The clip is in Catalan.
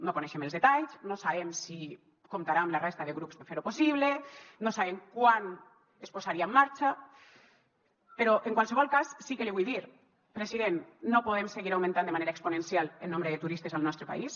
no en coneixem els detalls no sabem si comptarà amb la resta de grups per fer ho possible no sabem quan es posaria en marxa però en qualsevol cas sí que l’hi vull dir president no podem seguir augmentant de manera exponencial el nombre de turistes al nostre país